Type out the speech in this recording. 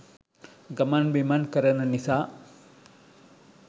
ගමන් බිමන් කරන නිසා.